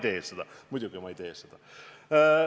Ma ei tee seda, muidugi ma ei tee seda.